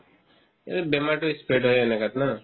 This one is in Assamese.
এইটোত বেমাৰতো spread হয় এনেকেতো ন